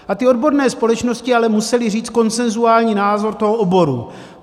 A ty odborné společnosti ale musely říct konsenzuální názor toho oboru.